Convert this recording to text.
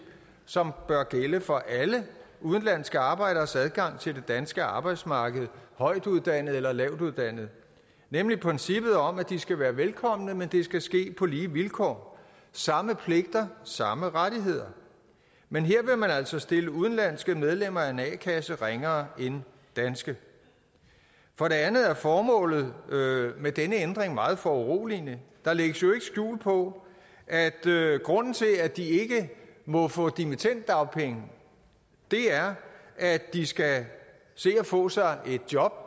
som bør gælde for alle udenlandske arbejderes adgang til det danske arbejdsmarked højtuddannede eller lavtuddannede nemlig princippet om at de skal være velkomne men det skal ske på lige vilkår samme pligter samme rettigheder men her vil man altså stille udenlandske medlemmer af en a kasse ringere end danske for det andet er formålet med denne ændring meget foruroligende der lægges jo ikke skjul på at grunden til at de ikke må få dimittenddagpenge er at de skal se at få sig et job